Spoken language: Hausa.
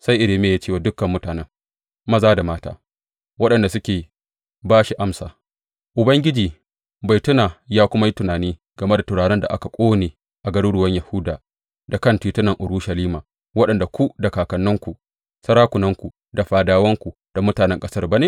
Sai Irmiya ya ce wa dukan mutanen, maza da mata, waɗanda suke ba shi amsa, Ubangiji bai tuna ya kuma yi tunani game da turaren da aka ƙone a garuruwan Yahuda da kan titunan Urushalima wanda ku da kakanninku, sarakunanku da fadawanku da mutanen ƙasar ba ne?